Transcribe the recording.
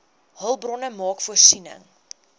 hulpbronne maak voorsiening